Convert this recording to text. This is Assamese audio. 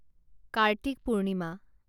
কাৰ্তিক পূৰ্ণিমা